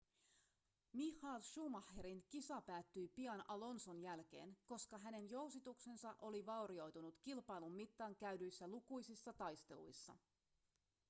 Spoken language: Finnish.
michael schumacherin kisa päättyi pian alonson jälkeen koska hänen jousituksensa oli vaurioitunut kilpailun mittaan käydyissä lukuisissa taisteluissa